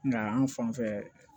Nka an fan fɛ